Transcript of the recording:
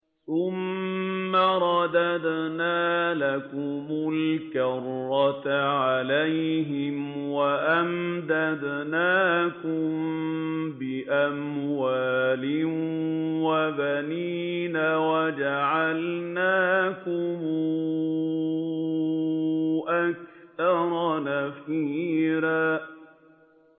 ثُمَّ رَدَدْنَا لَكُمُ الْكَرَّةَ عَلَيْهِمْ وَأَمْدَدْنَاكُم بِأَمْوَالٍ وَبَنِينَ وَجَعَلْنَاكُمْ أَكْثَرَ نَفِيرًا